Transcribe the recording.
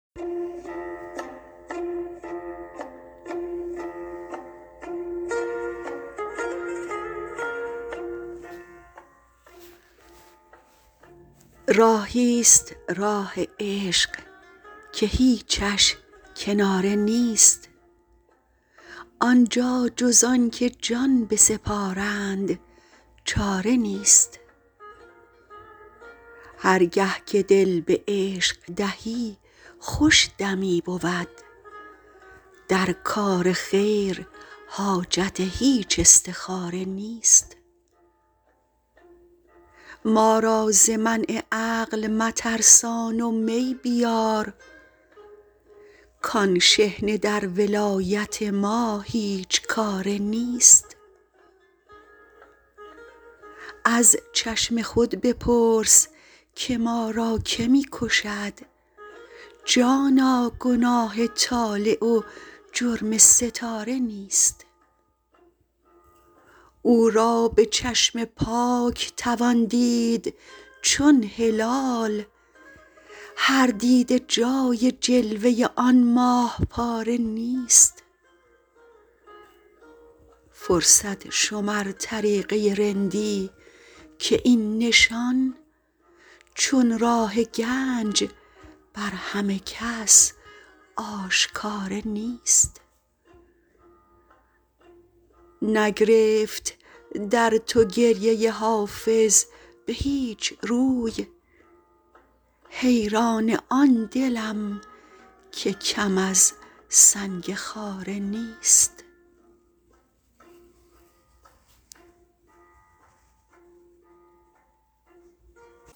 راهی ست راه عشق که هیچش کناره نیست آن جا جز آن که جان بسپارند چاره نیست هر گه که دل به عشق دهی خوش دمی بود در کار خیر حاجت هیچ استخاره نیست ما را ز منع عقل مترسان و می بیار کآن شحنه در ولایت ما هیچ کاره نیست از چشم خود بپرس که ما را که می کشد جانا گناه طالع و جرم ستاره نیست او را به چشم پاک توان دید چون هلال هر دیده جای جلوه آن ماه پاره نیست فرصت شمر طریقه رندی که این نشان چون راه گنج بر همه کس آشکاره نیست نگرفت در تو گریه حافظ به هیچ رو حیران آن دلم که کم از سنگ خاره نیست